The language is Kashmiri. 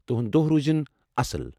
تُہُنٛد دۄہ روٗزِن اصٕل، جناب!